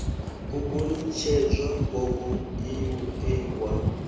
u gonitshedza gogo ie wa